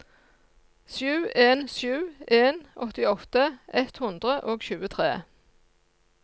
sju en sju en åttiåtte ett hundre og tjuetre